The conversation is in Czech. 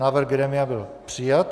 Návrh grémia byl přijat.